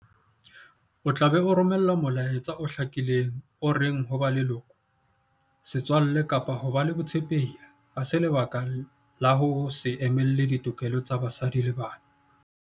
O tla be o romela molaetsa o hlakileng o reng ho ba leloko, setswalle kapa ho ba le botshepehi ha se lebaka la ho se emele ditokelo tsa basadi le bana.